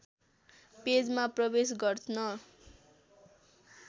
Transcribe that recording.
पेजमा प्रवेश गर्न